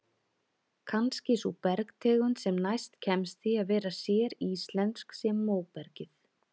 Kannski sú bergtegund sem næst kemst því að vera séríslensk sé móbergið.